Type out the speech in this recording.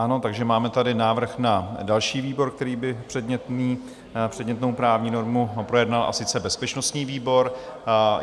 Ano, takže tady máme návrh na další výbor, který by předmětnou právní normu projednal, a sice bezpečnostní výbor.